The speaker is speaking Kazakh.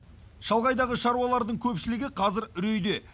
шалғайдағы шаруалардың көпшілігі қазір үрейде